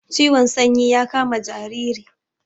Ciwon sanyi ya kama jariri